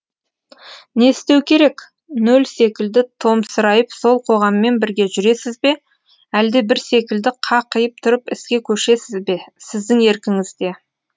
не істеу керек нөл секілді томсырайып сол қоғаммен бірге жүресіз бе әлде бір секілді қақиып тұрып іске көшесіз бе сіздің еркіңізде